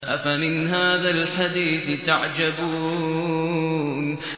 أَفَمِنْ هَٰذَا الْحَدِيثِ تَعْجَبُونَ